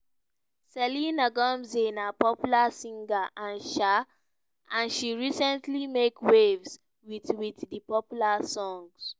selena gomez na popular singer and she recently make waves wit wit di popular song